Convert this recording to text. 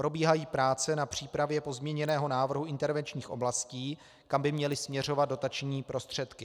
Probíhají práce na přípravě pozměněného návrhu intervenčních oblastí, kam by měly směřovat dotační prostředky.